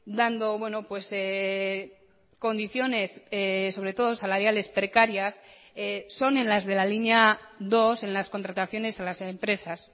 dando condiciones sobre todo salariales precarias son en las de la linea dos en las contrataciones a las empresas